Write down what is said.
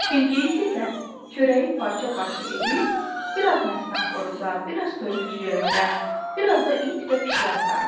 Bilqeyis isə çörəyi parça-parça edib, bir az məstan xoruza, bir az toyuq cücələrə, bir az da it və pişiyə atardı.